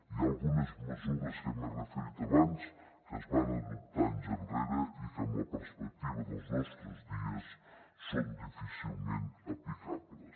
hi ha algunes mesures a què m’he referit abans que es van adoptar anys enrere i que amb la perspectiva dels nostres dies són difícilment aplicables